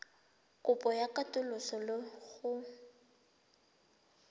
kopo ya katoloso le go